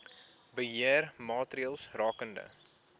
beheer maatreëls rakende